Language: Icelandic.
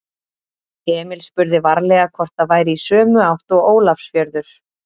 Emil spurði varlega hvort það væri í sömu átt og Ólafsfjörður.